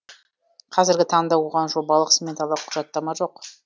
қазіргі таңда оған жобалық сметалық құжаттама жоқ